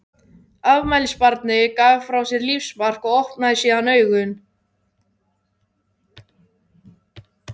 Afmælisbarnið gaf frá sér lífsmark og opnaði síðan augun.